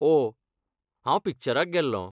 ओह, हांव पिक्चराक गेल्लों.